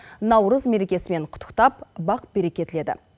наурыз мерекесімен құттықтап бақ береке тіледі